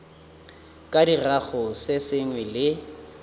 ka dirago se sengwe le